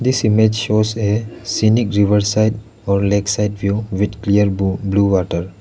this image shows a scenic river side or lakeside view with clear bu blue water.